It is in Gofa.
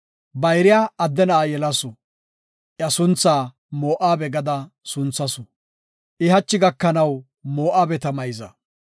Bayriya adde na7a yelasu; iya sunthaa Moo7abe gada sunthasu. I hachi gakanaw Moo7abeta mayza.